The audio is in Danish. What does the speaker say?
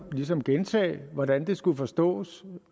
ligesom gentage hvordan det skulle forstås